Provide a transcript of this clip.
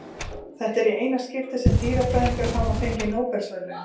Þetta er í eina skiptið sem dýrafræðingar hafa fengið Nóbelsverðlaun.